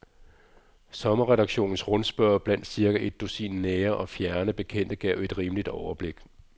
Sommerredaktionens rundspørge blandt cirka et dusin nære og fjerne bekendte gav et rimeligt overblik.